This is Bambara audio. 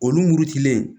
Olu muru cilen